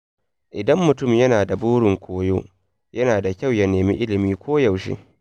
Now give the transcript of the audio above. Idan mutum yana da burin koyo, yana da kyau ya nemi ilimi koyaushe.